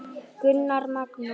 Gunnar Magnús.